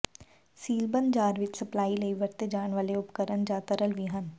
ਸੀਲਬੰਦ jar ਵਿੱਚ supply ਲਈ ਵਰਤੇ ਜਾਣ ਵਾਲੇ ਉਪਕਰਣ ਜਾਂ ਤਰਲ ਵੀ ਹਨ